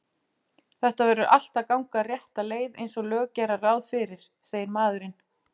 Þetta verður allt að ganga rétta leið einsog lög gera ráð fyrir, segir maðurinn.